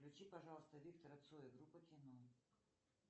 включи пожалуйста виктора цоя группа кино